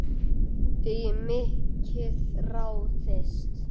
Í mikið ráðist